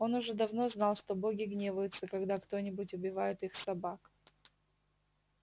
он уже давно знал что боги гневаются когда кто-нибудь убивает их собак